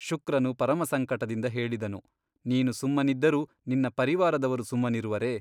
ಶುಕ್ರನು ಪರಮಸಂಕಟದಿಂದ ಹೇಳಿದನು ನೀನು ಸುಮ್ಮನಿದ್ದರೂ ನಿನ್ನ ಪರಿವಾರದವರು ಸುಮ್ಮನಿರುವರೆ ?